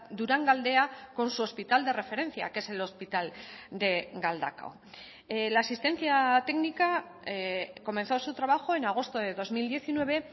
durangaldea con su hospital de referencia que es el hospital de galdakao la asistencia técnica comenzó su trabajo en agosto de dos mil diecinueve